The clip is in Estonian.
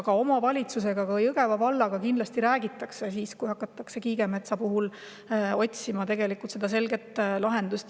Ka omavalitsusega, ka Jõgeva vallaga kindlasti räägitakse siis, kui hakatakse otsima selget lahendust Kiigemetsa puhul.